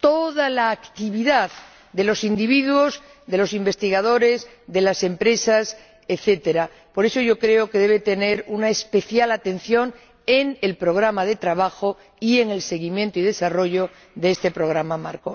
toda la actividad de los individuos, de los investigadores, de las empresas, etc. por eso, yo creo que debe tener una especial atención en el programa de trabajo y en el seguimiento y desarrollo de este programa marco.